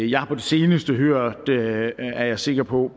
jeg har på det seneste hørt er jeg sikker på